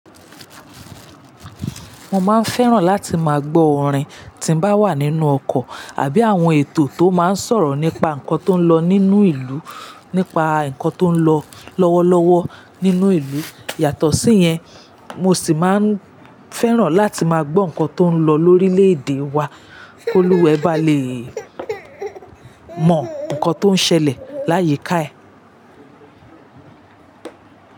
Mo máa ń fẹ́ràn láti máa gbọ́ orin tí ń bá wà nínú ọkọ̀ àbí àwọn ètò tó máa ń sọ̀rọ̀ nípa nǹkan tó ń lọ nínú ìlú, nípa nǹkan tó ń lọ lọ́wọ́lọ́wọ́ nínú ìlú. Yàtọ̀ sí yẹn, mo sì máa ń fẹ́ràn láti máa gbọ́ nǹkan tó ń lọ lórílẹ̀ èdè wa kóluwe bá le mọ nǹkan tó ń ṣẹlẹ̀ láyé káẹ́.